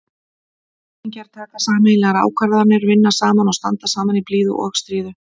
Jafningjar taka sameiginlegar ákvarðanir, vinna saman og standa saman í blíðu og stríðu.